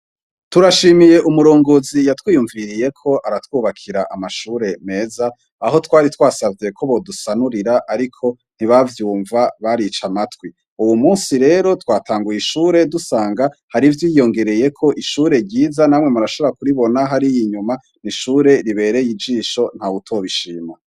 Turashimiye umurongozi yatwiyumviriyeko aratwubakira amashure meza, aho twari twasavye ko bodusanurira ariko ntibavyumva barica amatwi. Uwumunsi rero twatanguye ishure dusanga hari ivyiyongereyeko ishure ryiza namwe murashobora kuribona hariya inyuma n'ishure ribereye ijisho ntawutobishima.